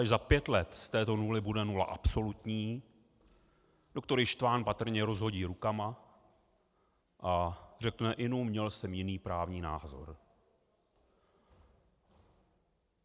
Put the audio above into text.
Až za pět let z této nuly bude nula absolutní, doktor Ištvan patrně rozhodí rukama a řekne: Inu, měl jsem jiný právní názor.